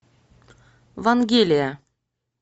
вангелия